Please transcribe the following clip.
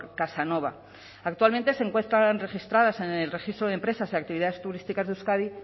casanova actualmente se encuentran registradas en el registro de empresas y actividades turísticas de euskadi